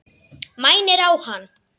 Mænir á hann.